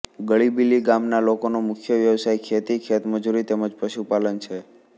ગળીબીલી ગામના લોકોનો મુખ્ય વ્યવસાય ખેતી ખેતમજૂરી તેમ જ પશુપાલન છે